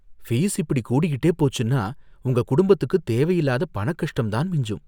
Fees இப்படி கூடிக்கிட்டே போச்சுன்னா உங்க குடும்பத்துக்குத் தேவையில்லாத பணக்கஷ்டம்தான் மிஞ்சும்.